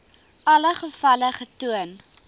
alle gevalle getoon